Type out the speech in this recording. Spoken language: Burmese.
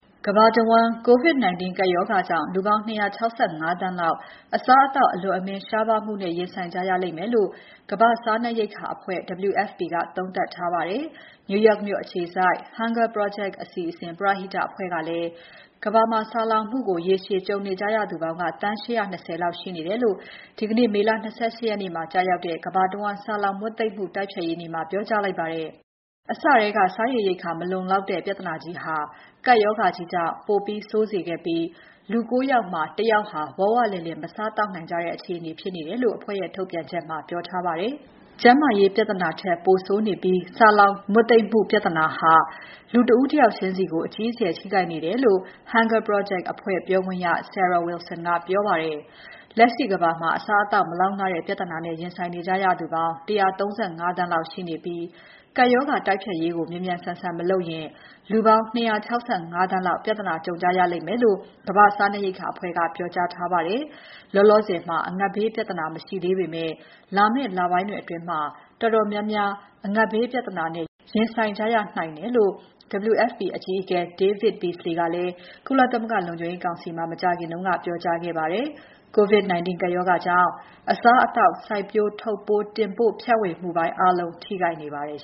ကမ္ဘာတဝန်း COVID-19 ကပ်ရောဂါကြောင့် လူပေါင်း ၂၆၅ သန်းလောက် အစားအသောက် အလွန်အမင်း ရှားပါးမှုနဲ့ ရင်ဆိုင်ကြရလိမ့်မယ်လို့ ကမ္ဘာ့စားနပ်ရိက္ခာအဖွဲ့ WFP ကသုံးသပ်ထားပါတယ်။ New York မြို့အခြေစိုက် Hunger Project အစီအစဉ် ပရဟိတအဖွဲ့ကလည်း ကမ္ဘာမှာ ဆာလောင်မှုကို ရေရှည်ကြုံနေကြရသူပေါင်းက သန်း ၈၂၀ လောက်ရှိနေတယ်လို့ ဒီကနေ့ မေလ ၂၈ ရက်နေ့မှာ ကျရောက်တဲ့ ကမ္ဘာတဝန်း ဆာလောင်မွတ်သိပ်မှု တိုက်ဖျက်ရေးနေ့မှာ ပြောကြားလိုက်ပါတယ်။ အစထဲက စားရေရိက္ခာ မလုံလောက်တဲ့ ပြဿနာကြီးဟာ ကပ်ရောဂါကြီးကြောင့် ပိုဆိုးစေပြီး လူ ကိုး ယောက်မှာ တစ် ယောက်ဟာ ဝဝလင်လင် မစားသောက်နိုင်ကြတဲ့ အခြေအနေဖြစ်နေတယ်လို့ အဖွဲ့ရဲ့ ထုတ်ပြန်ချက်မှာ ပြောကြားထားပါတယ်။ ကျန်းမာရေးပြဿနာထက် ပိုဆိုးနေပြီး ဆာလောင်မွတ်သိပ်မှု ပြဿနာဟာ လူတဦးတယောက်ချင်းစီကို အကြီးအကျယ် ထိခိုက်နေတယ်လို့ Hunger Project အစီအစဉ်ပြောခွင့်ရ Sara Wilson ကပြောကြားပါတယ်။ လက်ရှိကမ္ဘာမှာ အစားအသောက်မလောက်ငှတဲ့ ပြဿနာနဲ့ ရင်ဆိုင်နေကြရသူ ၁၃၅ သန်းရှိနေပြီး ကပ်ရောဂါတိုက်ဖျက်ရေးကို မြန်မြန်ဆန်ဆန် မလုပ်ရင် လူပေါင်း ၂၆၅ သန်းလောက် ပြဿနာကြုံကြရလိမ်မယ်လို့ ကမ္ဘာ့စားနပ်ရိက္ခာအဖွဲ့က ပြောထားပါတယ်။ လောလောဆယ် အငတ်ဘေးပြဿနာမရှိသေးပေမဲ့ လာမယ့်လပိုင်းတွေအတွင်း တော်တော်များများ အငတ်ဘေး ပြဿနာနဲ့ ရင်ဆိုင်ကြရနိုင်တယ်လို့ WFP အကြီးအကဲ David Beasley က ကုလသမဂ္ဂလုံခြုံရေးကောင်စီမှာ မကြာခင်ကပြောကြားခဲ့ပါတယ်။ COVID-19 ကပ်ရောဂါကြောင့် အစားအသောက် စိုက်ပျိုး၊ ထုပ်ပိုး၊ တင်ပို့၊ ဖြန့်ဝေမှုပိုင်းအားလုံး ထိခိုက်နေပါတယ်